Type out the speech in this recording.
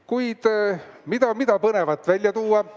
Kuid mida põnevat välja tuua?